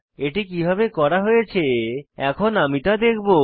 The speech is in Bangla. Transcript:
এটি কিভাবে করা হয়েছে এখন আমি তা দেখাবো